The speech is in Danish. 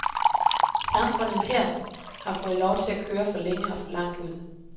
Samfundet her har fået lov til at køre for længe og for langt ud.